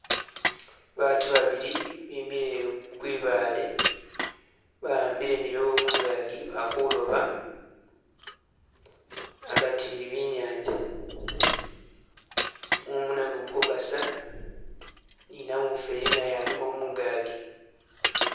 Baatu babili bimile kwibaale, bahambile milobo mungaagi bali kuloba agati wi nyanza. Mumu nagwo gu kukasa, ni namufweli naye alimo mungagi.